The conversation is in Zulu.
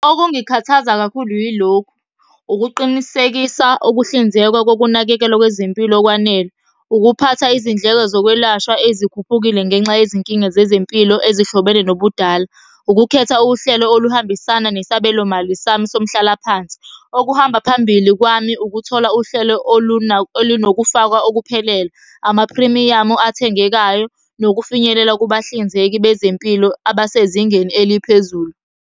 Okungikhathaza kakhulu yilokhu, ukuqinisekisa ukuhlinzekwa kokunakekelwa kwezempilo okwanele. Ukuphatha izindleko zokwelashwa ezikhuphukile ngenxa yezinkinga zezempilo ezihlobene nobudala. Ukukhetha uhlelo oluhambisana nesabelo mali sami somhlalaphansi. Okuhamba phambili kwami ukuthola uhlelo olunokufakwa okuphelele. Amaphrimiyamu athengekayo nokufinyelela kubahlinzeki bezempilo abasezingeni eliphezulu.